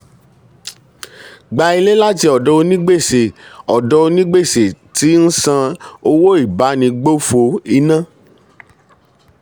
gba ilé láti ọdọ onígbèsè ọdọ onígbèsè tí ń san owó ìbánigbófò iná.